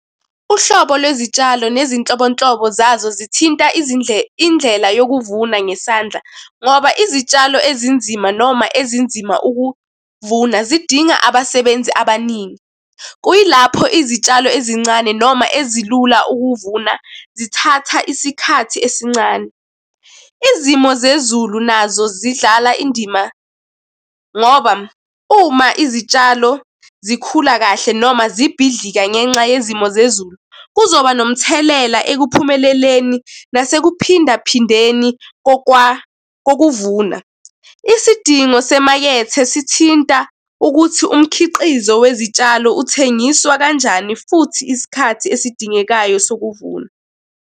Uhlobo lwezitshalo nezinhlobonhlobo zazo zithinta indlela yokuvuna ngesandla, ngoba izitshalo ezinzima noma ezinzima ukuvuna zidinga abasebenzi abaningi, Kuyilapho izitshalo ezincane noma ezilula ukuvuna, zithatha isikhathi esincane. Izimo zezulu nazo zidlala indima ngoba uma izitshalo zikhula kahle noma zibhidlika ngenxa yezimo zezulu, kuzoba nomthelela ekuphumeleleni nasekuphinda phindeni kokuvuna. Isidingo semakethe sithinta ukuthi umkhiqizo wezitshalo uthengiswa kanjani, futhi isikhathi esidingekayo sokuvuna.